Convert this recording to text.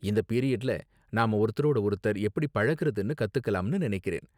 இந்த பீரியட்ல நாம ஒருத்தரோடு ஒருத்தர் எப்படி பழகுறதுன்னு கத்துக்கலாம்னு நினைக்கிறேன்.